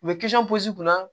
U bɛ posi kunna